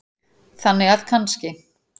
Þannig að kannski.